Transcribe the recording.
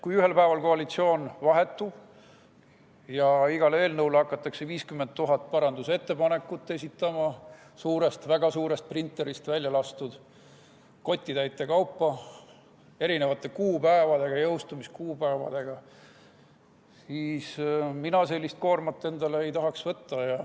Kui ühel päeval koalitsioon vahetub ja iga eelnõu kohta hakatakse 50 000 parandusettepanekut esitama, väga suurest printerist kotitäite kaupa välja laskma erinevate jõustumiskuupäevadega ettepanekuid – mina sellist koormat endale ei tahaks võtta.